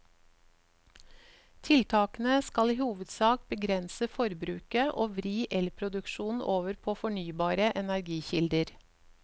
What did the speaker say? Tiltakene skal i hovedsak begrense forbruket og vri elproduksjonen over på fornybare energikilder.